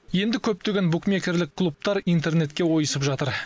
енді көптеген букмекерлік клубтар интернетке ойысып жатыр